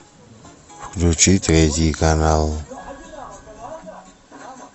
включи третий канал